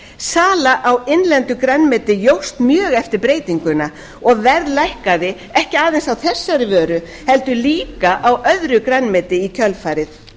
sala á innlendu grænmeti jókst mjög eftir breytinguna og verð lækkaði ekki aðeins á þessari vöru heldur líka á öðru grænmeti í kjölfarið